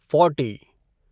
forty